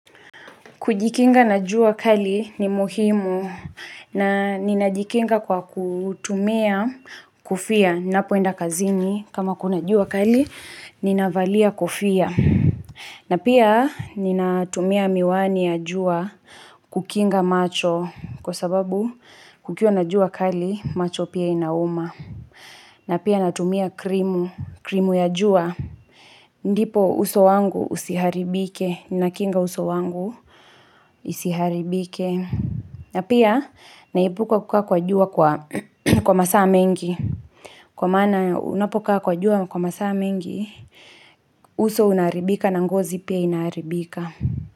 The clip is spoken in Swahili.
Kujikinga na jua kali ni muhimu na ninajikinga kwa kutumia kofia. niNapoenda kazini kama kuna jua kali, ninavalia kofia. Na pia nina tumia miwani ya jua kukinga macho kwa sababu kukiwa na jua kali macho pia inauma. Na pia natumia krimu ya jua. Ndipo uso wangu usiharibike, nakinga uso wangu isiharibike na pia naepuka kukaa kwa jua kwa masaa mengi Kwa maana unapokaa kwa jua kwa masaa mengi, uso unaharibika na ngozi pia inaharibika.